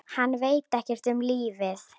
Hann veit ekkert um lífið.